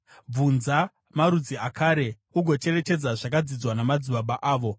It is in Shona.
“Bvunza marudzi akare ugocherechedza zvakadzidzwa namadzibaba avo,